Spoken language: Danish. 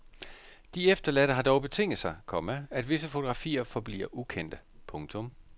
De efterladte har dog betinget sig, komma at visse fotografier forbliver ukendte. punktum